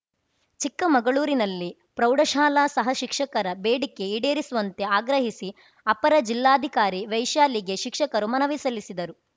ಚಿಕ್ಕಮಗಳೂರಿನಲ್ಲಿ ಪ್ರೌಢಶಾಲಾ ಸಹ ಶಿಕ್ಷಕರ ಬೇಡಿಕೆ ಈಡೇರಿಸುವಂತೆ ಆಗ್ರಹಿಸಿ ಅಪರ ಜಿಲ್ಲಾಧಿಕಾರಿ ವೈಶಾಲಿಗೆ ಶಿಕ್ಷಕರು ಮನವಿ ಸಲ್ಲಿಸಿದರು